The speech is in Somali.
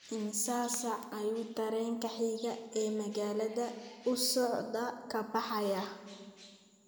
Immisa saac ayuu tareenka xiga ee magaalada u socdaa ka baxayaa?